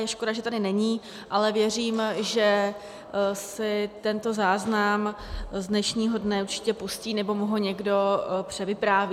Je škoda, že tady není, ale věřím, že si tento záznam z dnešního dne určitě pustí, nebo mu ho někdo převypráví.